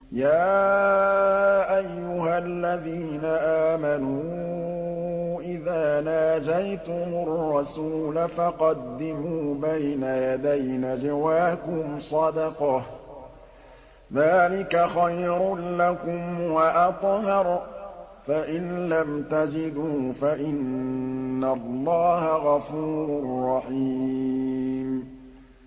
يَا أَيُّهَا الَّذِينَ آمَنُوا إِذَا نَاجَيْتُمُ الرَّسُولَ فَقَدِّمُوا بَيْنَ يَدَيْ نَجْوَاكُمْ صَدَقَةً ۚ ذَٰلِكَ خَيْرٌ لَّكُمْ وَأَطْهَرُ ۚ فَإِن لَّمْ تَجِدُوا فَإِنَّ اللَّهَ غَفُورٌ رَّحِيمٌ